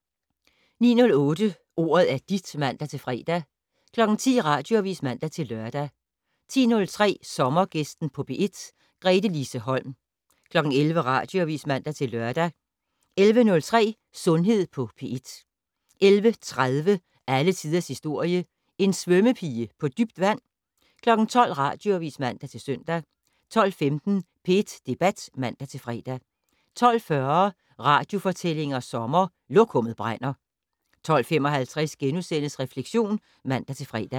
09:08: Ordet er dit (man-fre) 10:00: Radioavis (man-lør) 10:03: Sommergæsten på P1: Gretelise Holm 11:00: Radioavis (man-lør) 11:03: Sundhed på P1 11:30: Alle tiders historie: En svømmepige på dybt vand? 12:00: Radioavis (man-søn) 12:15: P1 Debat (man-fre) 12:40: Radiofortællinger sommer: Lokummet brænder 12:55: Refleksion *(man-fre)